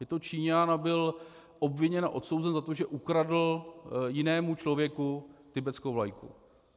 Je to Číňan a byl obviněn a odsouzen za to, že ukradl jinému člověku tibetskou vlajku.